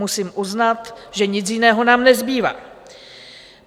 Musím uznat, že nic jiného nám nezbývá.